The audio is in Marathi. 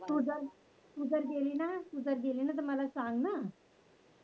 तू जर तू जर गेलिना तर मला सांगणं